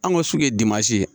An ka sugu ye ye